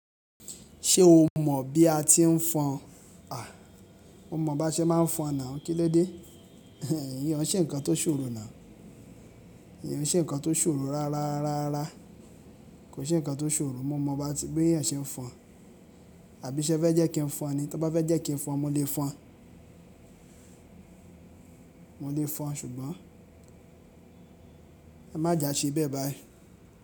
Ṣé o mọ̀ bí a ti ń fọn? A, mo mọ̀ bá n ṣe máa ń fọn náà. Kíló dé? Iyẹn ò ṣe nǹkan tó ṣòro náà. Iyẹn ò ṣe nǹkan tó ṣòro rárá, rárá. Kò ṣe nǹkan tó ṣòro. Mo mọ̀ bá ti bé eeyan ṣe ẹ ń fọn, àbí ṣé ẹ fẹ́ jẹ́ kí n fọn ni? Tó bá fẹ́ jẹ́ kí n fọn, mo lè fọn. Mo lè fọn ṣùgbọ́n ẹ má jà ṣe bẹ́ẹ̀ báyìí.